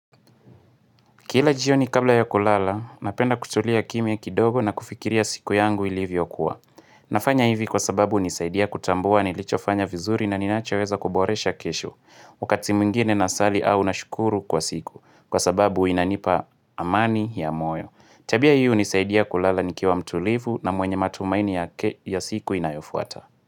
Kila jioni kabla ya kulala, napenda kutulia kimya kidogo na kufikiria siku yangu ilivyokuwa. Nafanya hivi kwa sababu hunisaidia kutambua nilichofanya vizuri na ninachoweza kuboresha kesho. Wakati mwingine nasali au nashukuru kwa siku. Kwa sababu inanipa amani ya moyo. Tabia hiyo hunisaidia kulala nikiwa mtulivu na mwenye matumaini ya siku inayofuata.